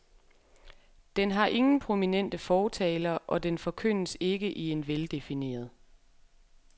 Den har ingen prominente fortalere og den forkyndes ikke i en veldefineret.